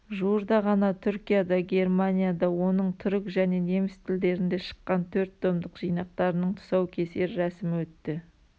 жуырда ғана түркияда германияда оның түрік және неміс тілдерінде шыққан төрт томдық жинақтарының тұсаукесер рәсімі өтті